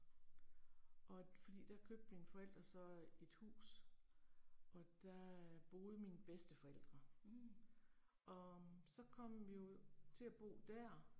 Og fordi der købte mine forældre så et hus og der boede mine bedsteforældre. Og så kom vi jo til at bo dér